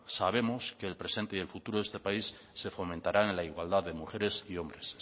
sabemos que el presente y el futuro de este país se fomentará en la igualdad de mujeres y hombres